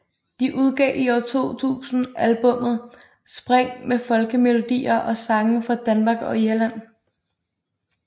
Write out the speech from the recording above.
De udgav i år 2000 albummet Spring med folkemelodier og sange fra Danmark og Irland